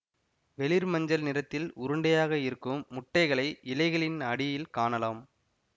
வெளிர்மஞ்சள் நிறத்தில் உருண்டையாக இருக்கும் முட்டைகளை இலைகளின் அடியில் காணலாம்